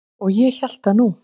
Og ég hélt það nú.